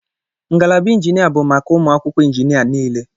Ngalaba injinia bụ maka ụmụ akwụkwọ injinia niile.